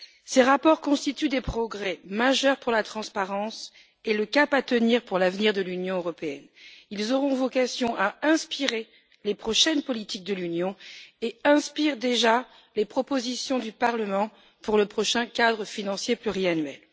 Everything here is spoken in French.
Ces rapports constituent des progrès majeurs pour la transparence et le cap à tenir pour l'avenir de l'Union européenne. Ils auront vocation à inspirer les prochaines politiques de l'Union et inspirent déjà les propositions du Parlement pour le prochain cadre financier pluriannuel.